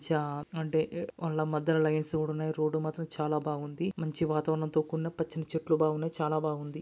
చా అంటే కొండ మద్యలో లైన్స్ కూడా ఉన్నాయ్ రోడ్డు మాత్రం చాలా బాగుంది మంచి వాతావరణం తో కూడిన పచ్చని చెట్లు బావున్నాయ్. చాలా బాగుంది.